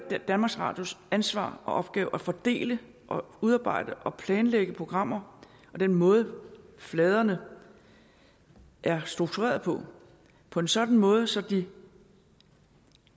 danmarks radios ansvar og opgave at fordele og udarbejde og planlægge programmer og den måde fladerne er struktureret på på en sådan måde så de